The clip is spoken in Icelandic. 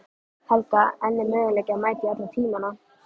Helga: En er möguleiki að mæta í alla tímana?